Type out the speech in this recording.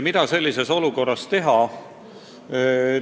Mida sellises olukorras teha?